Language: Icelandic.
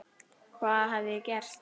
Hvað hafði ég gert?